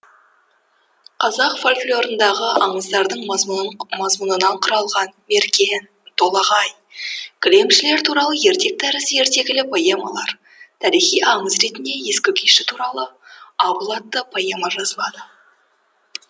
қазақ фольклорындағы аңыздардың мазмұнынан құрылған мерген толағай кілемшілер туралы ертек тәрізді ертегілі поэмалар тарихи аңыз ретінде ескі күйші туралы абыл атты поэма жазылады